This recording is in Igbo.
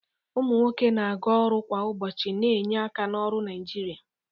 Ụmụ nwoke na-aga ọrụ kwa ụbọchị, na-enye aka na ọrụ Naijiria.